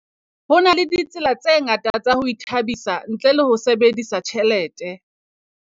Ho na le tsela tse ngata tsa ho ithabisa ntle le ho sebedisa tjhelete.